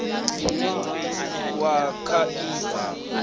une wa kha i bva